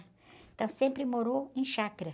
Então sempre morou em chácara.